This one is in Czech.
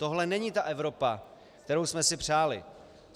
Tohle není ta Evropa, kterou jsme si přáli.